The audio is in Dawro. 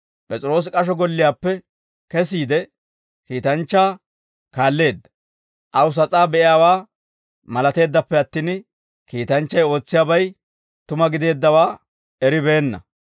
P'es'iroosi k'asho golliyaappe kesiide, kiitanchchaa kaalleedda; aw sas'aa be'iyaawaa malateeddappe attin, kiitanchchay ootsiyaabay tuma gideeddawaa eribeenna.